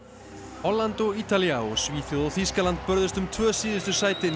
Holland og Ítalía og Svíþjóð og Þýskaland börðust um tvö síðustu sætin í